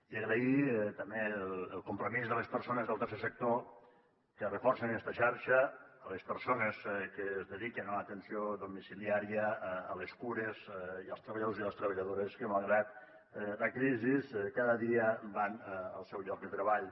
i agrair també el compromís de les persones del tercer sector que reforcen esta xarxa les persones que es dediquen a l’atenció domiciliària a les cures i els treballadors i les treballadores que malgrat la crisi cada dia van al seu lloc de treball